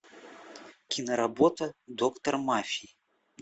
киноработа доктор мафии